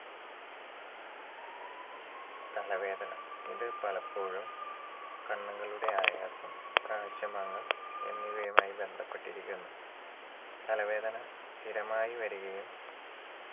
തലവേദന ഇത് പലപ്പോഴും കണ്ണുകളുടെ ആയാസം കാഴ്ചമങ്ങൽ എന്നിവയുമായി ബന്ധപ്പെട്ടിരിക്കുന്നു തലവേദന സ്ഥിരമായി വരികയും